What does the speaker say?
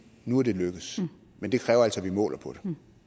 nu er det lykkedes men det kræver altså at vi måler på